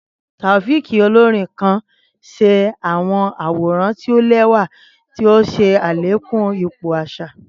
Taofiq, olorin kan, ṣẹda awọn aworan ti o lẹwa ti o ṣe alekun ipo aṣa.